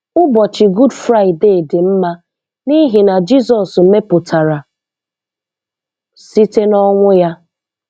Ụbọchị Gud Fraịde dị mma n'ihi ihe Jizọs mepụtara site n'ọnwụ ya